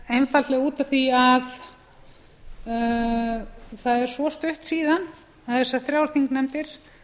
einfaldlega út af því að það er svo stutt síðan þessar þrjár þingnefndir